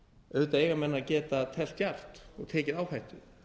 auðvitað eiga menn að geta teflt djarft og tekið áhættu